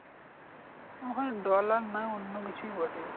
ওখানে dollar নয় অন্য কিছুই বটে।